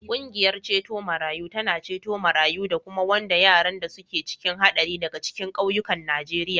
Ƙungiyar ceto marayu tana ceto marayu da kuma wanda yaran da suke cikin haɗari daga cikin ƙauyukan Najeriya.